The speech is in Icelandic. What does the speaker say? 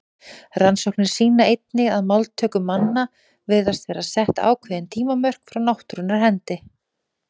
Rannsóknir sýna einnig að máltöku manna virðast vera sett ákveðin tímamörk frá náttúrunnar hendi.